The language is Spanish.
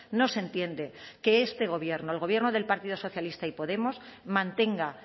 no se entiende que este gobierno el gobierno del partido socialista y podemos mantenga